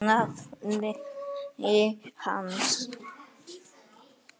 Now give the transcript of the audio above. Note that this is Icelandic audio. nafni hans.